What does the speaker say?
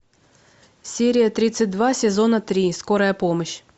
серия тридцать два сезона три скорая помощь